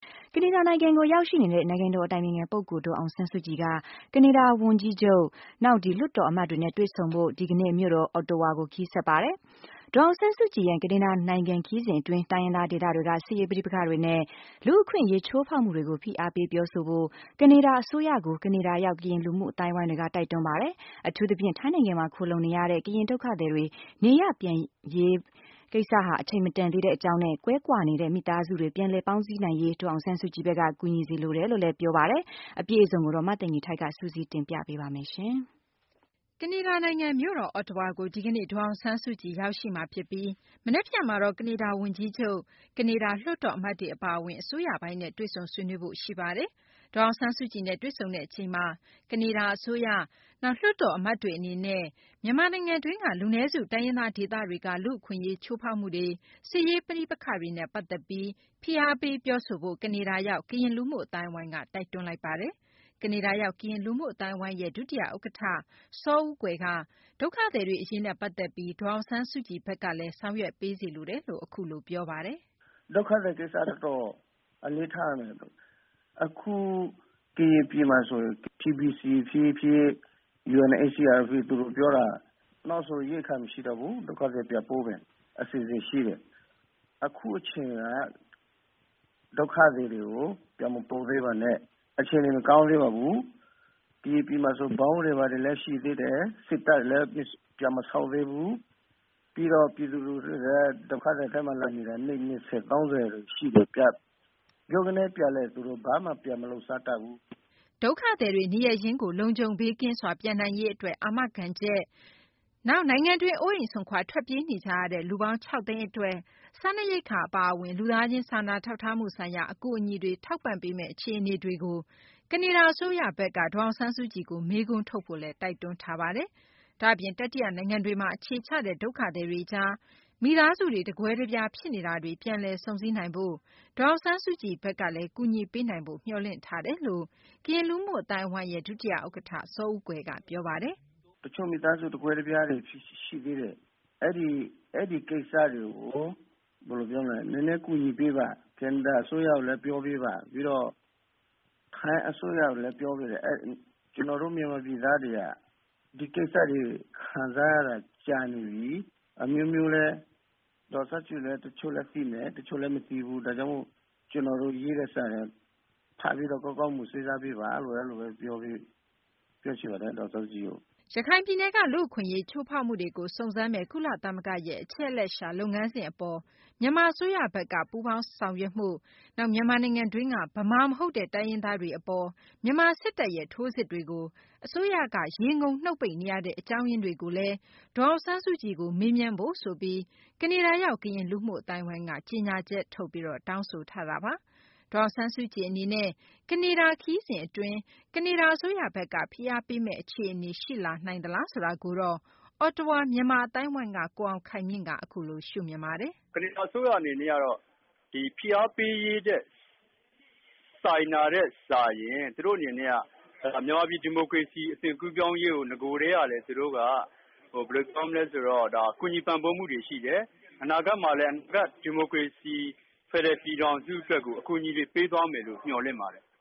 ကနေဒါနိုင်ငံကို ရောက်ရှိနေတဲ့ နိုင်ငံတော် အတိုင်ပင်ခံ ပုဂ္ဂိုလ် ဒေါ်အောင်ဆန်းစုကြည်က ကနေဒါ ဝန်ကြီးချုပ်၊ နောက် လွှတ်တော်အမတ်တွေနဲ့ တွေ့ဆုံဖို့ ဒီကနေ့ မြို့တော် အော့တဝါကို ခရီးဆက်ပါတယ်။ ဒေါ်အောင်ဆန်းစုကြည်ရဲ့ ကနေဒါ နိုင်ငံ ခရီးစဉ် အတွင်း တိုင်းရင်း ဒေသတွေက စစ်ရေး ပဋိပက္ခတွေနဲ့ လူ့အခွင့်အရေး ချိုးဖောက်မှုတွေကို ဖိအားပေး ပြောဆိုဖို့ ကနေဒါ အစိုးရကို ကနေဒါရောက် ကရင် လူမှု အသိုင်းအဝိုင်းက တိုက်တွန်းပါတယ်။ အထူးသဖြင့် ထိုင်းနိုင်ငံမှာ ခိုလှုံနေရတဲ့ ကရင် ဒုက္ခသည်တွေ နေရပ်ရင်းပြန်ဖို့ အချိန်မတန်သေးတဲ့ အကြောင်းနဲ့ ကွဲကွာနေတဲ့ မိသားစုတွေ ပြန်လည် ပေါင်းစည်းနိုင်ရေး ဒေါ်အောင်ဆန်းစုကြည်က ကူညီပေးစေ လိုတယ်လို့လည်း ပြောဆိုပါတယ်။ မသိင်္ဂ ီထိုက် စုစည်းတင်ပြထားပါတယ်။ ကနေဒါ နိုင်ငံ မြို့တော် အော့တဝါကို ဒီကနေ့ ဒေါ်အောင်ဆန်းစုကြည် ရောက်ရှိပြီး မနက်ဖြန်မှာတော့ ကနေဒါ ဝန်ကြီးချုပ်၊ နောက် လွှတ်တော် အမတ်တွေ အပါအဝင် အစိုးရပိုင်းနဲ့ တွေ့ဆုံ ဆွေးနွေးမှာ ဖြစ်ပါတယ်။ဒေါ်အောင်ဆန်းစုကြည်နဲ့ တွေ့ဆုံတဲ့ အချိန်မှာ ကနေဒါ အစိုးရ နောက် လွှတ်တော် အမတ်တွေ အနေနဲ့ လူနည်းစု တိုင်းရင်းသား ဒေသတွေက လူ့အခွင့်အရေး ချိုးဖောက်မှုတွေ၊ စစ်ရေး ပဋိပက္ခတွေနဲ့ ပတ်သက်ပြီး တိုက်တွန်းပြောဆိုဖို့ ကနေဒါရောက် ကရင်လူမှု အသိုင်းအဝိုင်းက တိုက်တွန်းပါတယ်။ ကနေဒါရောက် ကရင် လူမှု အသိုင်းအဝိုင်းရဲ့ ဒုတိယ ဥက္ကဌ စောဦးကွယ်က ဒုက္ခသည်တွေအရေးနဲ့ ပတ်သက်ပြီး ဒေါ်အောင်ဆန်းစုကြည်ဘက်က ဆောင်ရွက်ပေးစေလိုတယ်လို့ အခုလို ပြောပါတယ်။ “ဒုက္ခသည် ကိစ္စကတော့ အလေးထားရမယ်။ အခု ကရင်ပြည်မှာ ဆိုရင် TBC ဖြစ်ဖြစ်၊ UNHCR ဖြစ်ဖြစ် သူတို့ ပြောတာက နောက်ဆို ရိက္ခာ မရှိတော့ဘူး။ ဒုက္ခသည်တွေ ပြန်ပို့မယ့် အစီအစဉ် ရှိတယ်။ အခု အချိန်က ဒုက္ခသည်တွေကို ပြန်မပို့သေးပါနဲ့။ အခြေအနေ မကောင်းသေးပါဘူး။ ကရင်ပြည်မှာဆို ဗုံးတွေ ဘာတွေ လည်း ရှိသေးတယ်။ စစ်တပ်လည်း ပြန်မဆုတ်သေးဘူး။ နောက်ပြီးလည်း ပြည်သူ လူထုတွေက ဒုက္ခသည် စခန်းတွေမှာ လာနေတာ နှစ် ၂၀ - ၃၀ ရှိနေပြီ။ ဗြုန်းကနဲ ပြန်လည်း သူတို့ ဘာမှ လုပ်စားမတတ်ဘူး။ ” ဒုက္ခသည်တွေ နေရပ်ရင်းကို လုံခြုံဘေးကင်းစွာ ပြန်နိုင်ရေး အတွက် အာမခံချက်၊ ကရင် ပြည်နယ်တွင်း အိုးအိမ်စွန့်ခွာ ထွက်ပြေးနေကြရတဲ့ လူပေါင်း ၆ သိန်း အတွက် စားနပ်ရိက္ခာ အပါအဝင် လူသားချင်း စာနာထောက်ထားမှု ဆိုင်ရာအကူအညီတွေကို ထောက်ပံ့ပေးမယ့် အခြေအနေတွေကို ကနေဒါ အစိုးရ အနေနဲ့ ဒေါ်အောင်ဆန်းစုကြည်ကို မေးခွန်းထုတ်ဖို့လည်း တိုက်တွန်းထားတာပါ။ ဒါ့အပြင် တတိယ နိုင်ငံတွေမှာ အခြေချတဲ့ ဒုက္ခသည်တွေကြား မိသားစုတွေ တကွဲတပြား ဖြစ်နေတာတွေကို ပြန်လည် စုံစည်းနိုင်ဖို့ ဒေါ်အောင်ဆန်းစုကြည်ဘက်က ကူညီပေးနိုင်ဖို့လည်း မျှော်လင့်တယ်လို့ ကရင် လူမှု အသိုင်းအဝိုင်းရဲ့ ဒုတိယ ဥက္ကဌ စောဦးကွယ်က ပြောပါတယ်။ “ တချို့မိသားစု တကွဲတပြားတွေ ရှိသေးတယ်။ အဲဒီ ကိစ္စတွေကို နည်းနည်း ကူညီပေးပါ။ ကနေဒါ အစိုးရကိုလည်း ပြောပေးပါ။ ပြီးတော့ ထိုင်းအစိုးရကိုလည်း ပြောပေးစေချင်တယ်။ ကျနော်တို့ မြန်မာပြည်သားတွေက ဒီကိစ္စတွေ ခံစားရတာ ကြာနေပြီ။ ဒေါ်အောင်ဆန်းစုကြည်လည်း တချို့လည်း သိမယ်၊ တချို့လည်း မသိဘူး။ ဒါကြောင့်မို့လို့လည်း ကျနော်တို့ ပေးတဲ့စာကို ဖတ်ပြီးတော့ ကောင်းကောင်းမွန်မွန် စဉ်းစားပေးပါလို့ အဲလိုဘဲ ပြောချင်ပါတယ်။ ဒေါ်အောင်ဆန်းစုကြည်ကို။ ” ရခိုင်ပြည်နယ်က လူ့အခွင့်အရေး ချိုးဖောက်မှုတွေကို စုံစမ်းမယ့် ကုလသမဂ္ဂရဲ့ အချက်အလက်ရှာမယ့် လုပ်ငန်းစဉ် အပေါ် မြန်မာ အစိုးရက ပူးပေါင်းဆောင်ရွက်မှု၊ နောက် မြန်မာနိုင်ငံတွင်းက ဗမာ မဟုတ်တဲ့ တိုင်းရင်းသားတွေ အပေါ် မြန်မာ စစ်တပ်ရဲ့ ထိုးစစ်တွေကို အစိုးရက ရေငုံနှုတ်ပိတ် နေရတဲ့ အကြောင်းရင်းတွေကို ဒေါ်အောင်ဆန်းစုကြည်ကို ပြောဆိုဖု့ိဆိုပြီး ကနေဒါရောက် ကရင် လူမှု အသိုင်းအဝိုင်းက ကြေညာချက်ထုတ်ပြီး တောင်းဆိုတာပါ။ ဒေါ်အောင်ဆန်းစုကြည် အနေနဲ့ ကနေဒါ ခရီးစဉ် အတွင်း ကနေဒါ အစိုးရဘက်က ဖိအားပေးမယ့် အခြေအနေ ရှိနိုင်လားဆိုတာကိုတော့ အော်တဝါ မြန်မာ အသိုင်းအဝိုင်းက ကိုအောင်ခိုင်မြင့်က အခုလို ရှုမြင်ပါတယ်။ “ ကနေဒါ အစိုးရ အနေနဲ့ ဖိအားပေးရေးထက် စာရင် သူတို့ အနေနဲ့က မြန်မာပြည် ဒီမိုကရေစီ အသွင်ကူးပြောင်းရေးကို နဂိုကတည်းက သူတို့က ကူညီပံ့ပိုးမှုတွေ ရှိတယ်။ အနာဂတ်မှာလည်း မြန်မာ့ ဒီမိုကရေစီ ဖယ်ဒရယ် ပြည်ထောင်စု အတွက်ကို အကူအညီတွေ ပေးသွားမယ်လို့ မျှော်လင့်ပါတယ်။”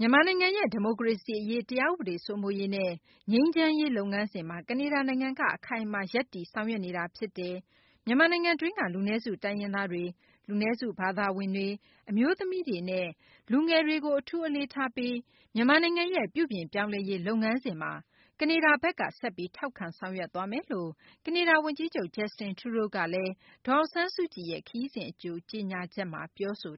မြန်မာနိုင်ငံရဲ့ ဒီမိုကရေစီ အရေး၊ တရားဥပဒေ စိုးမိုးရေးနဲ့ ငြိမ်းချမ်းရေး လုပ်ငန်းစဉ်မှာ ကနေဒါ နိုင်ငံက အခိုင်အမာ ရပ်တည် ဆောင်ရွက်နေတာ ဖြစ်တယ်။ မြန်မာနိုင်ငံတွင်းက လူနည်းစု တိုင်းရင်းသားတွေ၊ လူနည်းစု ဘာသာဝင်တွေ၊ အမျိုးသမီးတွေနဲ့ လူငယ်တွေကို အထူးအလေးထားပြီး မြန်မာနိုင်ငံရဲ့ ပြုပြင်ပြောင်းလဲရေး လုပ်ငန်းစဉ်မှာ ကနေဒါဘက်က ဆက်ပြီး ထောက်ခံဆောင်ရွက်သွားမယ်လို့ကနေဒါ ဝန်ကြီးချုပ် Justin Trudeau က ဒေါ်အောင်ဆန်းစုကြည် ခရီးစဉ် အကြို ကြေညာချက်မှာ ပြောဆို